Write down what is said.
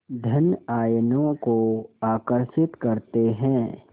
धन आयनों को आकर्षित करते हैं